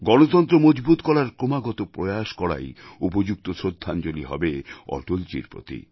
গণতন্ত্র মজবুত করার ক্রমাগত প্রয়াস করাই উপযুক্ত শ্রদ্ধাঞ্জলি হবে অটলজীর প্রতি